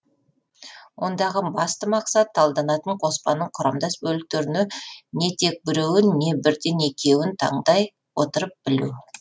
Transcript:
ондағы басты мақсат талданатын қоспаның құрамдас бөліктеріне не тек біреуін не бірден екеуін тандай отырып білу